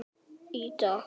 Besta stundin?